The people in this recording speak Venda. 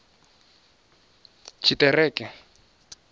tshiṱereke